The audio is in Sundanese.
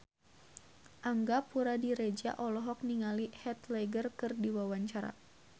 Angga Puradiredja olohok ningali Heath Ledger keur diwawancara